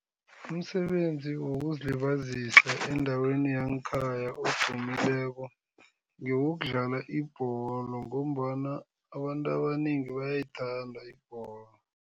Umsebenzi wokuzilibazisa endaweni yangekhaya odumileko, ngewokudlala ibholo ngombana abantu abanengi bayayithanda ibholo.